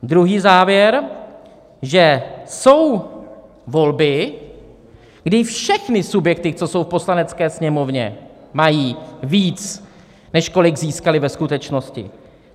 Druhý závěr: že jsou volby, kdy všechny subjekty, co jsou v Poslanecké sněmovně, mají víc, než kolik získaly ve skutečnosti.